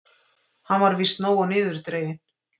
Hann var víst nógu niðurdreginn.